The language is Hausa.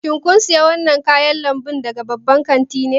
Shin kun sayi wannan kayan lambu daga babban kanti ne?